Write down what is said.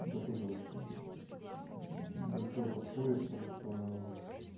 это тоже ну большое подспорье потому что